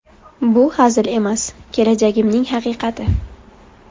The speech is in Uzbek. Bu hazil emas, kelajagimning haqiqati.